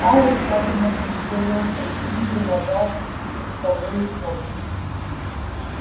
пауэлл тщательно прицелился и трижды нажал спусковую кнопку